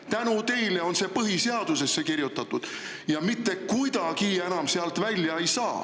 Kui tänu teile on see põhiseadusesse kirjutatud, siis mitte kuidagi seda sealt enam välja ei saa.